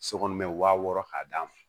So kɔnɔ mɛ wa wɔɔrɔ k'a d'a ma